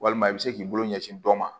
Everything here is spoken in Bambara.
Walima i bɛ se k'i bolo ɲɛsin dɔ ma